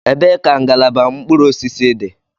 Ebee ka ngalaba mkpụrụ osisi dị?